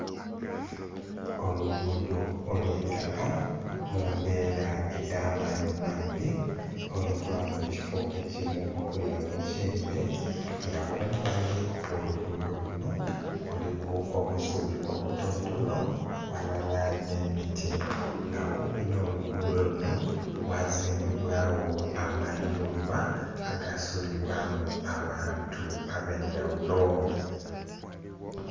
Olugudho olwaitaka mumbera edh'amaadhi maadhi oluva mukifo ekimu okwira mukidhi nga kumbali okwolugudho kuno kuliku obusubi obutonontono walala n'emiti nga kumpi nolugudho luno ghazimbibwawo amayumba agasulibwamu abantu abendhaghulo.